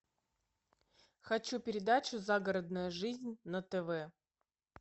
хочу передачу загородная жизнь на тв